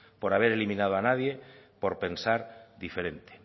por haber eliminado a nadie por pensar diferente